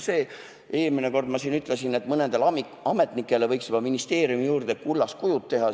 Eelmine kord ma siin ütlesin, et mõnele ametnikule võiks ministeeriumi juurde juba kullast kujud teha.